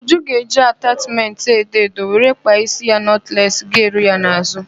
Uju ga-eji atachmentị edo edo were kpaa ísí nọtless ga-eru ya n'azụ.